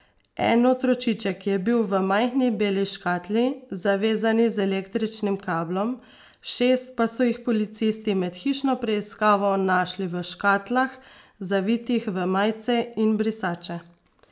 En otročiček je bil v majhni beli škatli, zavezani z električnim kablom, šest pa so jih policisti med hišno preiskavo našli v škatlah, zavitih v majice in brisače.